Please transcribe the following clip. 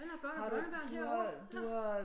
Han har børn og børnebørn herovre